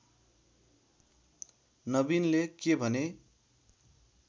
नवीनले के भने